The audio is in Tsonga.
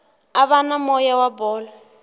ava na moya wa bolo